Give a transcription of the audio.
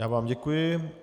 Já vám děkuji.